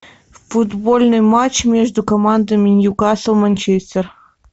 футбольный матч между командами ньюкасл манчестер